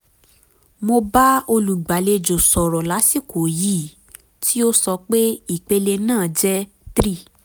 mo bá olùgbàlejò sọ̀rọ̀ lásìkò yìí tí ó sọ pé ìpele náà jẹ́ 3